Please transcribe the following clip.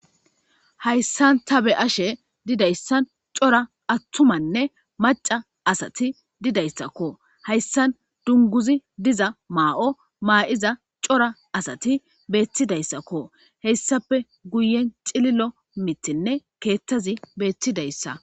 Hayssan ta be ashe didayssan cora attumanne maca asati didayssakko hayssan dunguzi diza maa7o maa7iza cora asati beettidayssakko heyssape guyen xililo mitinne keettazi beettidayssa.